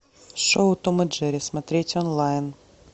шоу том и джерри смотреть онлайн